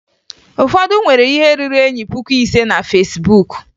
Ụfọdụ nwere ihe ruru enyi puku ise na Fesbuk